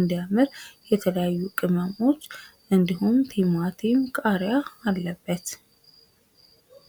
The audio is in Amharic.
እንዳምር የተለያዩ ቅመሞች እንድሁም ቲማቲም ቃሪያ አለበት።